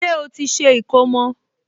Ṣé ó ti ṣe ìkómọ?